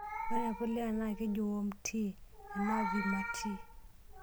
Ore enapulia naa kejii 'worm tea' enaa 'vermi tea'.